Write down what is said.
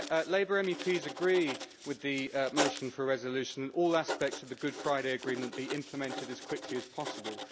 Labour MEPs agree with the motion for a resolution and that all aspects of the Good Friday Agreement be implemented as quickly as possible.